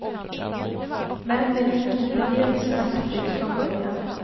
Men det gick inte helt smärtfritt från början.